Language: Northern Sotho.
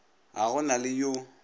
ga go na le yo